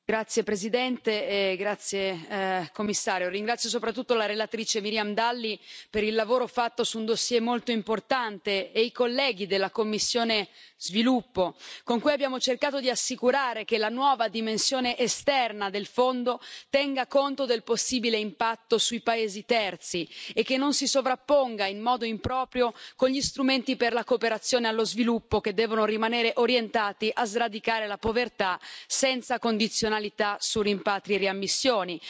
Signora Presidente, signor Commissario, onorevoli colleghi, ringrazio soprattutto la relatrice Miriam Dalli per il lavoro fatto su un dossier molto importante, nonché i colleghi della commissione per lo sviluppo, con cui abbiamo cercato di assicurare che la nuova dimensione esterna del Fondo tenga conto del possibile impatto sui paesi terzi e che non si sovrapponga in modo improprio con gli strumenti per la cooperazione allo sviluppo, che devono rimanere orientati a sradicare la povertà senza condizionalità su rimpatri e riammissioni.